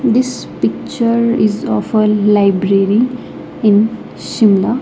This picture is of a library in Shimla.